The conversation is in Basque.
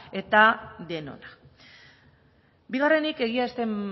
eta denona bigarrenik egia ez den